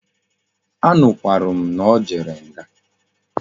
A nukwara m na o jere nga